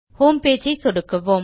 homepage ஐ சொடுக்குவோம்